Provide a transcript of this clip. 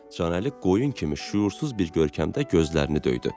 Canəli qoyun kimi şüursuz bir görkəmdə gözlərini döydü.